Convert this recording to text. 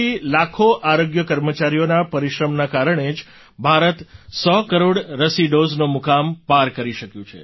તમારા જેવી લાખો આરોગ્ય કર્મચારીઓના પરિશ્રમના કારણે જ ભારત સો કરોડ રસી ડૉઝનો મુકામ પાર કરી શક્યું છે